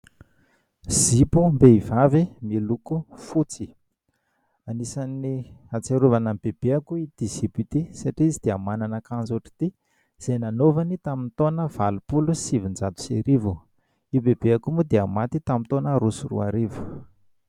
Zipom-behivavy miloko fotsy. Anisan'ny ahatsiarovana ny bebeko itỳ zipo itỳ satria izy dia manana akanjo ohatr'itỳ izay nanaovany tamin'ny taona valopolo sy sivinjato sy arivo. Io bebeko io moa dia maty tamin'ny taona roa sy roarivo.